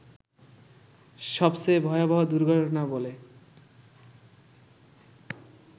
সবচেয়ে ভয়াবহ দুর্ঘটনা বলে